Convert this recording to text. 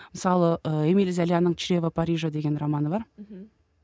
мысалы ы эмиль золяның чрево парижа деген романы бар мхм